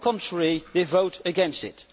On the contrary, they vote against it.